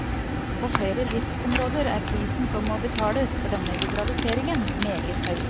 På flere livsområder er prisen som må betales for denne liberaliseringen, meget høy.